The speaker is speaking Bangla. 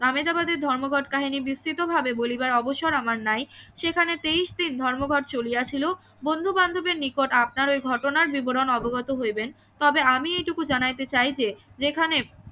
আমেদাবাদ ধর্মঘট কাহিনি বিস্তৃত ভাবে বলিবার অবসর আমার নাই সেখানে তেইশ দিন ধর্মঘট চলিয়া ছিল বন্ধু বান্ধবের নিকট আপনাদের ঘটনার বিবরণ অবগত হইবেন তবে আমি এইটুকু জানাইতে চাই যে যেখানে